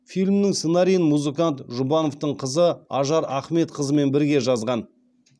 фильмнің сценарийін музыкант жұбановтың қызы ажар ахметқызымен бірге жазған